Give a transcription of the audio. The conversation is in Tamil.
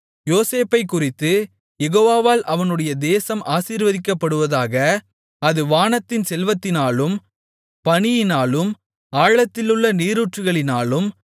யோசேப்பைக்குறித்து யெகோவாவால் அவனுடைய தேசம் ஆசீர்வதிக்கப்படுவதாக அது வானத்தின் செல்வத்தினாலும் பனியினாலும் ஆழத்திலுள்ள நீரூற்றுகளினாலும்